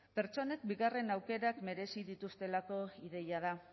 pertsonek bigarren aukerak merezi dituztelako ideia da